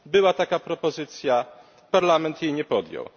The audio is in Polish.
Była taka propozycja, Parlament jej nie podjął.